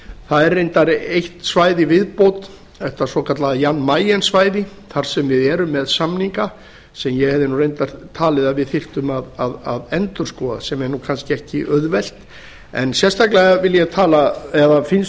það er reyndar eitt svæði í viðbót þetta svokallaða jan mayen svæði þar sem við erum með samninga sem ég hefði reyndar talið að við þyrftum að endurskoða sem er kannski ekki auðvelt en sérstaklega finnst